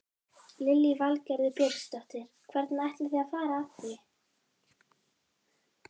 Lillý Valgerður Pétursdóttir: Hvernig ætlið þið að fara að því?